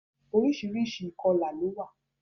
Oríṣiríṣi ìkọlà ló wà.